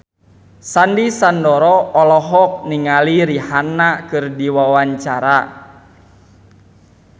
Sandy Sandoro olohok ningali Rihanna keur diwawancara